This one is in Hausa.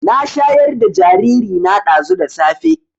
Na shayar da jariri na ɗazu da safe